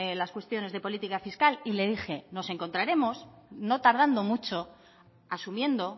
las cuestiones de política fiscal le dije nos encontraremos no tardando mucho asumiendo